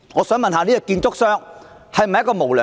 試問這家建築商是否無良？